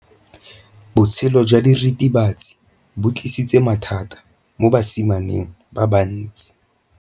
Botshelo jwa diritibatsi ke bo tlisitse mathata mo basimaneng ba bantsi.